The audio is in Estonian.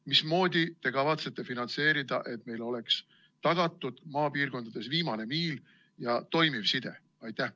Mismoodi te kavatsete finantseerida seda, et maapiirkondades oleks tagatud viimane miil ja toimiv side?